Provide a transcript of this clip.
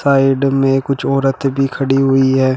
Side में कुछ औरतें भी खड़ी हुई है।